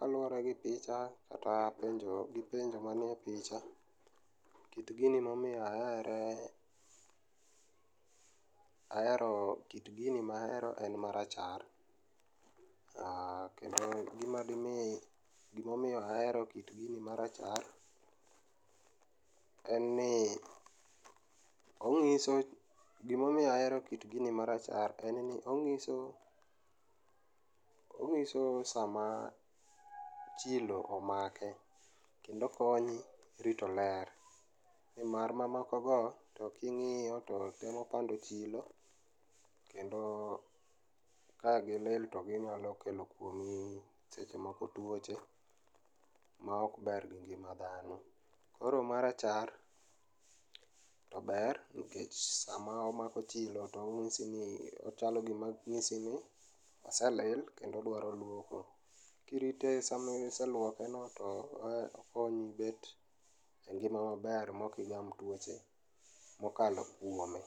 Kaluore gi picha kata gi penjo manie picha, kit gini momiyo ahere, ahero kit gini mahero en marachar. Aaah, kendo gima dimi ,gima omiyo ahero kit gini marachar en ni ongiso, gimomiyo ahero kit gini marachar en ni ongiso ,ongiso sama chilo omake kendo okonyi rito ler nimar mamoko go to kingiyo temo pando chilo kendo ka gilil to ginyalo kelo kuomi seche moko tuoche maok ber gi ngima dhano. Koro marachar tober nikech sama omako chilo to ongisni ,chalo gima ongisi ni aselil kendo dwaro luoko. Kirite sama iseluoke no kendo okonyi bet gi ngima maber kendo ok igam tuoche mokalo kuome,